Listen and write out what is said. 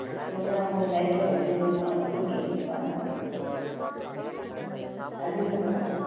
வந்து அவங்களுடைய life அ வந்து வ~ இது பண்ணிட்டு இருப்பாங்க அதே மாதிரிதான்